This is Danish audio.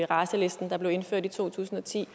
raceliste der blev indført i to tusind og ti